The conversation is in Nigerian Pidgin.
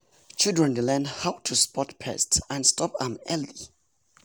children dey learn how to spot pest and stop am early.